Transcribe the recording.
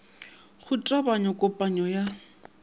go tebanyo ya kopanyo ya